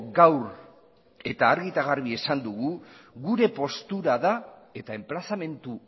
gaur argi eta garbi esan dugu gure postura da eta enplazamendu